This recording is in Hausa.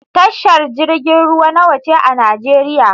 Tashar jirgin ruwa nawa ce a Nijeriya?